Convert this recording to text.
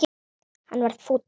Hann varð fúll.